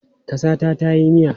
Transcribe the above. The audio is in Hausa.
Ka sa ta tayi miya?